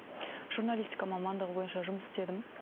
журналистика мамандығы бойынша жұмыс істедім